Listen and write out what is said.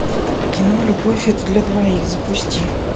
кино любовь это для двоих запусти